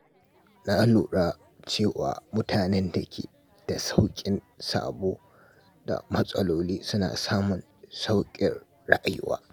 Na lura cewa mutanen da ke da sauƙin sabo da matsaloli suna samun sauƙin rayuwa.